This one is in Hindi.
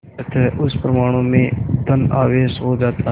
अतः उस परमाणु में धन आवेश हो जाता है